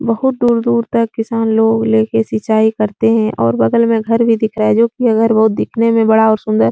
बहोत दूर-दूर तक किसान लोग ले के सिचाई करते हैं और बगल में घर भी दिख रहा है जो कि घर दिखने में बड़ा और सुंदर --